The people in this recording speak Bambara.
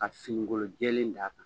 Ka finikolon jɛlen d'a kan.